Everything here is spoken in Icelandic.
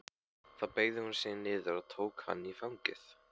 Þá beygði hún sig niður og tók hann í fangið.